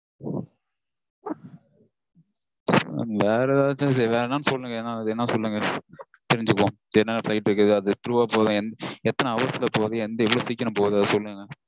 வேற எதாச்சும் சரி வேற என்னனு சொல்லுங்க. என்ன சொல்லுங்க தெரிஞ்சுப்போம். என்னென்ன flight இருக்குது. அது through -ஆ போகுதா எத்தன hours -ல போகுது எவ்வளவு சீக்கிரம் போகுது அது சொல்லுங்க